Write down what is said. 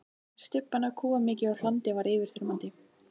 Stybban af kúamykju og hlandi var yfirþyrmandi.